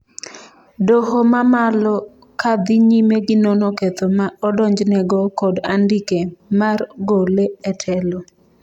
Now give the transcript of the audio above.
doho mamalo ka dhi nyime gi nono ketho ma odonjnego kod andike mar gole e telo